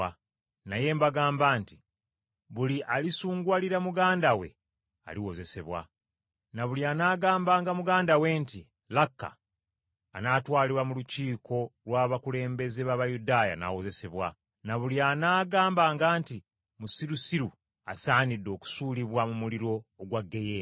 Naye mbagamba nti Buli alisunguwalira muganda we aliwozesebwa. Na buli anaagambanga muganda we nti, ‘Laka,’ anaatwalibwa mu lukiiko lw’abakulembeze b’Abayudaaya n’awozesebwa. Na buli anaagambanga nti, ‘Musirusiru,’ asaanidde okusuulibwa mu muliro ogwa ggeyeena.